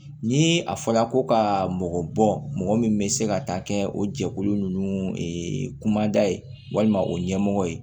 Ni a fɔra ko ka mɔgɔ bɔn mɔgɔ min bɛ se ka taa kɛ o jɛkulu ninnu kumada ye walima o ɲɛmɔgɔ ye